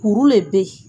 Kuru le bɛ ye